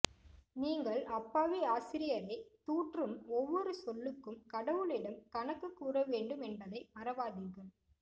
நீங்கள் அப்பாவி ஆசிரியரை தூற்றும் ஒவ்வொரு சொல்லுக்கும் கடவுளிடம் கணக்கு கூறவேண்டும் என்பதை மறவாதீர்கள்